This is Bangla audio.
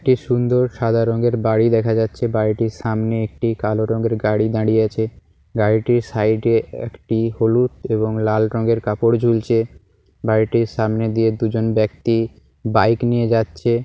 একটি সুন্দর সাদা রঙের বাড়ি দেখা যাচ্ছে। বাড়িটির সামনে একটি কালো রঙের গাড়ি দাঁড়িয়েছে। গাড়িটির সাইড এ একটি হলুদ এবং লাল রঙের কাপড় ঝুলছে। বাড়িটির সামনে দিয়ে দুজন ব্যক্তি বাইক নিয়ে যাচ্ছে।